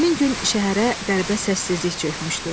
Həmin gün şəhərə qəribə səssizlik çökmüşdü.